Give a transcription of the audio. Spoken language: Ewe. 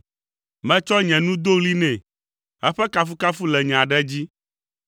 Metsɔ nye nu do ɣli nɛ, eƒe kafukafu le nye aɖe dzi.